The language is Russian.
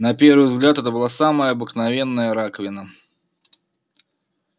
на первый взгляд это была самая обыкновенная раковина